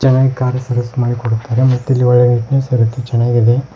ಚೆನ್ನಾಗ್ car service ಮಾಡಿ ಕೊಡುತ್ತಾರೆ ಮತ್ತಿಲ್ಲಿ ಒಳಗೆ ನೀಟ್ನೆಸ್ ಇರುತ್ತೆ ಚೆನ್ನಾಗಿದೆ.